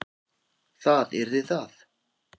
Það yrði það.